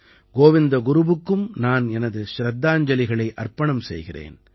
கோவிந்த குருவுக்கும் நான் எனது சிரத்தாஞ்சலிகளை அர்ப்பணம் செய்கிறேன்